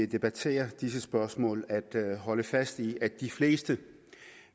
debatterer disse spørgsmål at holde fast i at de fleste